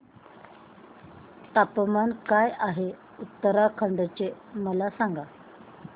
तापमान काय आहे उत्तराखंड चे मला सांगा